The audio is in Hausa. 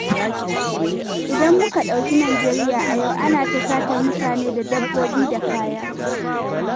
Idan muka ɗauki Najeriya a yau, ana ta satar mutane da dabbobi da kaya.